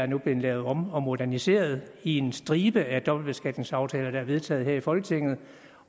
nu lavet om og moderniseret i en stribe af dobbeltbeskatningsaftaler der er vedtaget her i folketinget